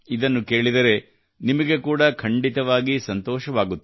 ಇದನ್ನು ಕೇಳಿದರೆ ನಿಮಗೆ ಕೂಡಾ ಖಂಡಿತವಾಗಿಯೂ ಸಂತೋಷವಾಗುತ್ತದೆ